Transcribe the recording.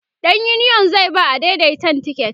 ɗan uniyon zai ba adaidaitan tiket